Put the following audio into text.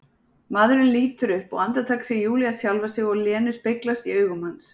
Maðurinn lítur upp og andartak sér Júlía sjálfa sig og Lenu speglast í augum hans.